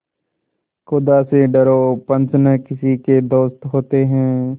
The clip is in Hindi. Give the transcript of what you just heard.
खुदा से डरो पंच न किसी के दोस्त होते हैं